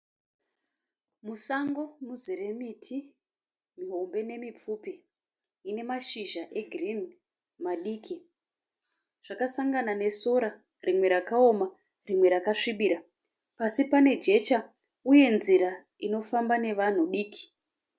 Musango muzere miti. Mihombe nemipfupi ine mashizha e girini madiki. Zvakasangana nesora rimwe rakaoma rimwe rakasvibira. Pasi pane jecha uye nzira inofamba nevanhu diki.